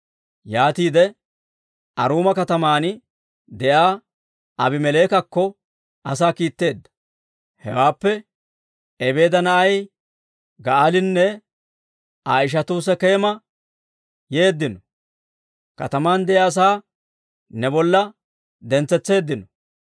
yaatiide Aruuma kataman de'iyaa Aabimeleekakko asaa kiitteedda. Hewaappe, «Ebeeda na'ay Ga'aalinne Aa ishatuu Sekeema yeeddino; kataman de'iyaa asaa ne bolla dentsetseeddino.